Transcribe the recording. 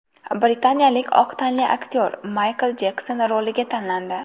Britaniyalik oq tanli aktyor Maykl Jekson roliga tanlandi.